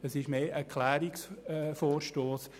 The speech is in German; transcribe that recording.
Es handelt sich eher um einen Klärungsvorstoss.